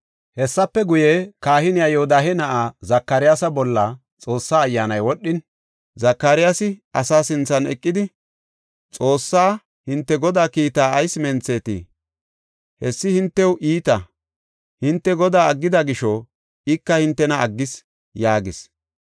Hessafe guye, kahiniya Yoodahe na7aa Zakariyasa bolla Xoossaa Ayyaanay wodhin Zakariyasi asaa sinthan eqidi, “Xoossay, ‘Hinte Godaa kiitaa ayis menthetii? Hessi hintew iita. Hinte Godaa aggida gisho ika hintena aggis’ ” yaagees.